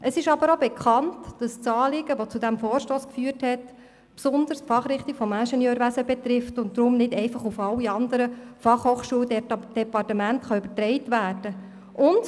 Es ist jedoch auch bekannt, dass das Anliegen, welches zu diesem Vorstoss geführt hat, besonders die Fachrichtung der Ingenieurwissenschaft betrifft und deshalb nicht einfach auf alle anderen FH-Departemente übertragen werden kann.